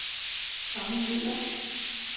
Tommy Müller